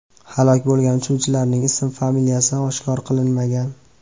Halok bo‘lgan uchuvchilarning ism-familiyasi oshkor qilinmagan.